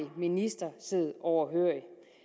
minister sidde overhørig